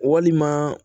Walima